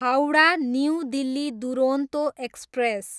Howrah, new Delhi Duronto express